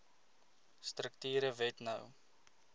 strukture wet no